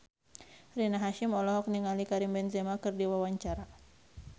Rina Hasyim olohok ningali Karim Benzema keur diwawancara